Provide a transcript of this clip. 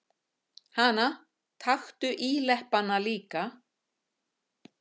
Hana, taktu íleppana líka.